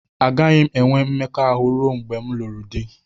Agaghị m enwe mmekọahụ ruo mgbe m lụrụ di